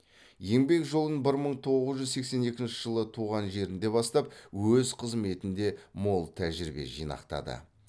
еңбек жолын бір мың тоғыз жүз сексен екінші жылы туған жерінде бастап өз қызметінде мол тәжірибе жинақтады